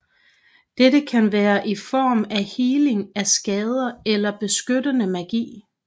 Dette kan være i form af heling af skader eller beskyttende magi